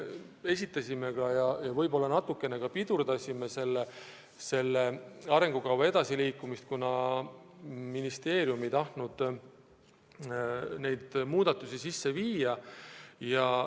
Me võib-olla natukene ka pidurdasime selle arengukava edasiliikumist, kuna ministeerium ei tahtnud neid muudatusi sisse viia.